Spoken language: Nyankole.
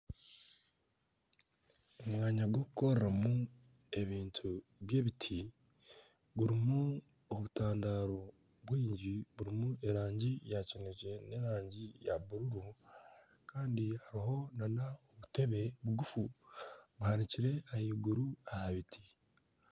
Omwanya gw'okukoreramu ebintu by'ebiti gurimu obutandaro bw'erangi ya kineekye neya bururu kandi hariho n'obutebe bugufu buhanikire ahaiguru aha biti